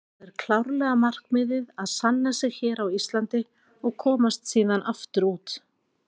Það er klárlega markmiðið að sanna sig hér á Íslandi og komast síðan aftur út.